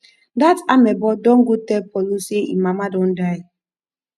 dat amebo don go tell paulo say im mama don die